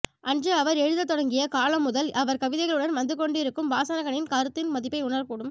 அன்று அவர் எழுதத் தொடங்கிய காலம் முதல் அவர் கவிதைகளுடன் வந்துகொண்டிருக்கும் வாசகனின் கருத்தின் மதிப்பை உணரக்கூடும்